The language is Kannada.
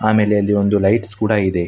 ಆಮೇಲೆ ಅಲ್ಲಿ ಒಂದು ಲೈಟ್ಸ್ ಕೂಡ ಇದೆ.